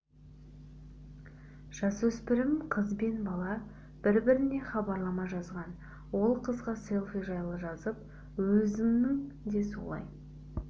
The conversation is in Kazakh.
жасөспірім қыз бен бала бір-біріне хабарлама жазған ол қызға селфи жайлы жазып өзінің де солай